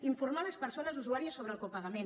informar les persones usuàries sobre el copagament